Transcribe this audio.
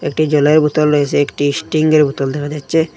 একটি জলের বোতল রয়েসে একটি স্টিংয়ের বোতল দেখা যাচ্ছে।